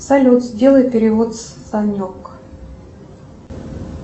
салют сделай перевод санек